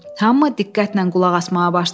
Hamı diqqətlə qulaq asmağa başladı.